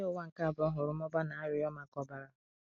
Agha Ụwa nke Abụọ hụrụ mmụba na arịrịọ maka ọbara.